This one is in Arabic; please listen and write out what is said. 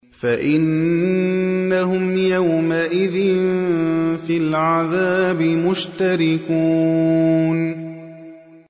فَإِنَّهُمْ يَوْمَئِذٍ فِي الْعَذَابِ مُشْتَرِكُونَ